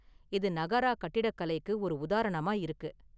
இது நகாரா கட்டிடக்கலைக்கு ஒரு உதாரணமா இருக்குது.